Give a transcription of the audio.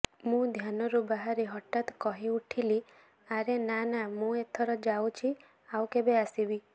ମୁ ଧ୍ୟାନରୁ ବାହରି ହଠାତ୍ କହିଉଠିଲି ଆରେ ନା ନା ମୁଁ ଏଥର ଜାଉଛି ଆଉ କେବେ ଆସିବି